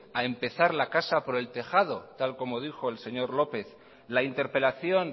a empezar la casa por el tejado tal como dijo el señor lópez la interpelación